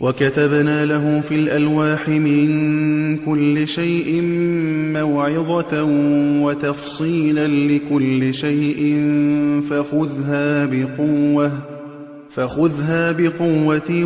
وَكَتَبْنَا لَهُ فِي الْأَلْوَاحِ مِن كُلِّ شَيْءٍ مَّوْعِظَةً وَتَفْصِيلًا لِّكُلِّ شَيْءٍ فَخُذْهَا بِقُوَّةٍ